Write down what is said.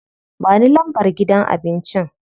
Ba ni lambar gidan abincin.